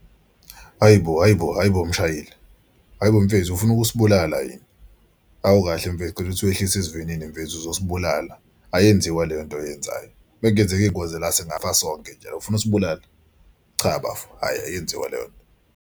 Hhayi bo hhayi bo hhayi bo mshayeli! Hayi bo mfethu ufuna ukusibulala yini? Awukahle mfethu cela ukuthi wehlise isivinini mfethu uzosibulala ayenziwa leyo nto oyenzayo. Uma kungenzeka ingozi la singafaka sonke njalo ufuna ukusibulala? Cha bafo, hhayi ayenziwa leyo nto.